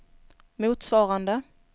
motsvarande